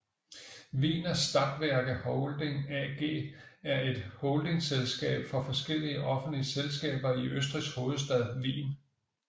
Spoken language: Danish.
Wiener Stadtwerke Holding AG er et holdingselskab for forskellige offentlige selskaber i Østrigs hovedstad Wien